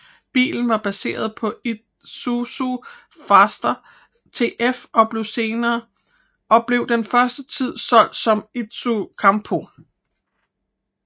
Bilen var baseret på Isuzu Faster TF og blev den første tid solgt som Isuzu Campo